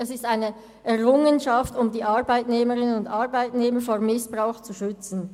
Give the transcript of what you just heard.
Sie sind eine Errungenschaft, um die Arbeitnehmerinnen und Arbeitnehmer vor Missbrauch zu schützen.